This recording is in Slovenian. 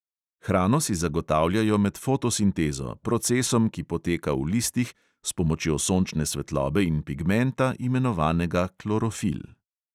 Hrano si zagotavljajo med fotosintezo, procesom, ki poteka v listih, s pomočjo sončne svetlobe in pigmenta, imenovanega klorofil.